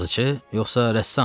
Yazıçı yoxsa rəssam?